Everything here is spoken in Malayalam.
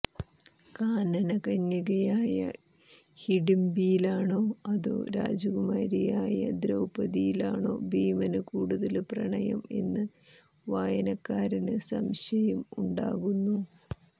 കാനനകന്യകയായ ഹിഡിംബിയിലാണോ അതോ രാജകുമാരിയായ ദ്രൌപദിയിലാണോ ഭീമന് കൂടുതല് പ്രണയം എന്ന് വായനക്കാരന് സംശയം ഉണ്ടാകുന്നു